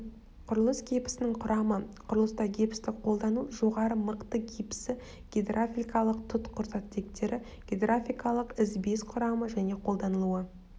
құрылыс гипсінің құрамы құрылыста гипсті қолдану жоғары мықты гипсі гидравликалық тұтқыр заттектері гидравликалық ізбес құрамы және қолданылуы